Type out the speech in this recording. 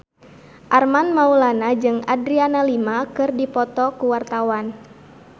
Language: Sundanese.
Armand Maulana jeung Adriana Lima keur dipoto ku wartawan